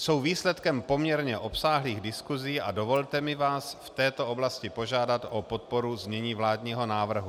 Jsou výsledkem poměrně obsáhlých diskusí a dovolte mi vás v této oblasti požádat o podporu znění vládního návrhu.